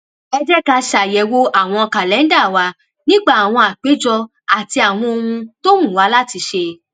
ẹ jẹ́ ká ṣàyẹ̀wò àwọn kàlẹ́ńdà wa nípa àwọn àpéjọ àti àwọn ohun tó wù wá láti ṣe